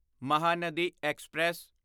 Mahanadi express